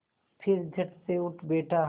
फिर झटसे उठ बैठा